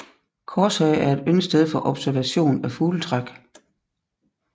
Korshage er et yndet sted for observation af fugletræk